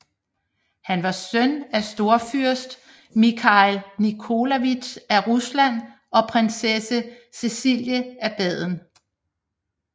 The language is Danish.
Han var søn af storfyrst Mikhail Nikolajevitj af Rusland og prinsesse Cecilie af Baden